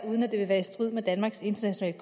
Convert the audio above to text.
uden at det er i strid med danmarks internationale